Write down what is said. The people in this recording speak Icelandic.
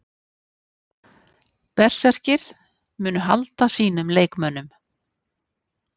Berserkir: Munu halda sínum leikmönnum.